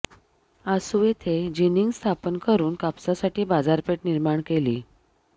आसू येथे जिनिंग स्थापन करून कापसासाठी बाजारपेठ निर्माण केली